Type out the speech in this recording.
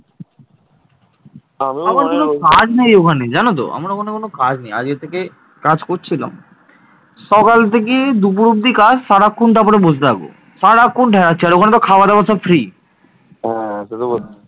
আমার কোনও কাজ নেই ওখানে জান তো আমার ওখানে কোনও কাজ নেই আজ থেকে কাজ করছিলাম সকাল থেকে দুপুর অবধি কাজ তারপর সারাক্ষন ওখানে বসে থাকো সারাক্ষন আর ওখানে খাওয়া দাওয়া সব free ওহ